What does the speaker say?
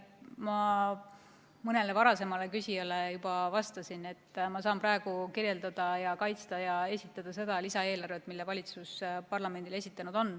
Ma mõnele varasemale küsijale juba vastasin, et ma saan praegu kirjeldada, kaitsta ja esitleda seda lisaeelarvet, mille valitsus parlamendile on esitanud.